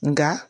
Nka